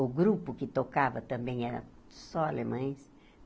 O grupo que tocava também era só alemães.